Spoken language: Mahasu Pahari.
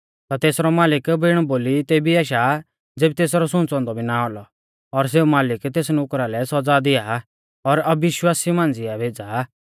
ता तेसरौ मालिक बिण बोली तेबी आशा ज़ेबी तेसरै सुंच़ौ औन्दौ भी ना औलौ और सेऊ मालिक तेस नुकरा लै सौज़ा दिआ और अविश्वासिऊ मांझ़िऐ भेज़ा